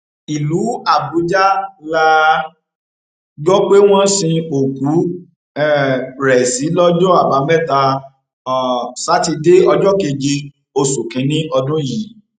ìlú àbújá la gbọ pé wọn sin òkú um rẹ sí lọjọ àbámẹta um sátidé ọjọ keje oṣù kínínní ọdún yìí